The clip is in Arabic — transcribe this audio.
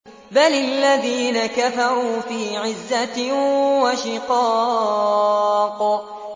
بَلِ الَّذِينَ كَفَرُوا فِي عِزَّةٍ وَشِقَاقٍ